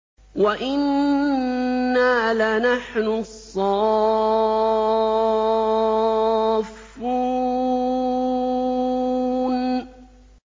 وَإِنَّا لَنَحْنُ الصَّافُّونَ